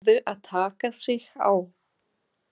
Þeir urðu að taka sig á!